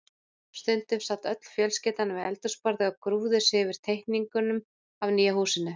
Stundum sat öll fjölskyldan við eldhúsborðið og grúfði sig yfir teikninguna af nýja húsinu.